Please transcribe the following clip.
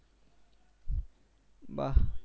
বাহ